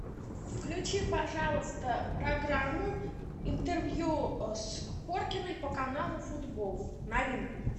включи пожалуйста программу интервью с хоркиной по каналу футбол новинку